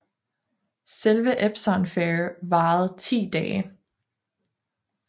Selve Epsom Fair varede 10 dage